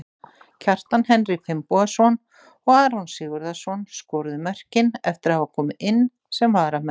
Kjartan Henry Finnbogason og Aron Sigurðarson skoruðu mörkin eftir að hafa komið inn sem varamenn.